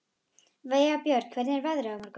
Vébjörn, hvernig er veðrið á morgun?